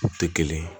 U tɛ kelen ye